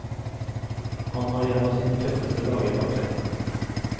Han har en av sine tøffeste dager bak seg.